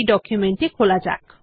document টি খোলা যাক